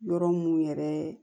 Yɔrɔ mun yɛrɛ